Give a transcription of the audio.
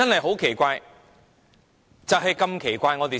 很奇怪，實在太奇怪。